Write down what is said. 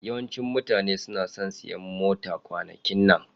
Yawancin mutane suna son siyan mota kwanakin nan.